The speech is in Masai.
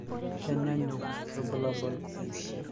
keenyanyuk irbulabol